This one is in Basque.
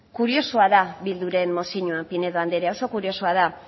kuriosoa da bilduren mozioa pinedo andrea oso kuriosoa da